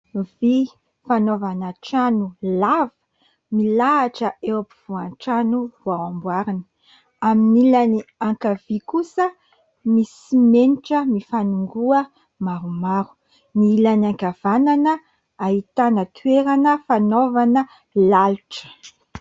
Vy fanaovana trano lava milahatra eo afovoan'ny trano vao amboarina. Amin'ny ilany ankavia kosa misy simenitra mifangona maromaro. Ny ilany ankavanana ahitana toerana fanaovana lalotra.